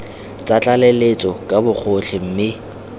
tsa tlaleletso ka bogotlhe mme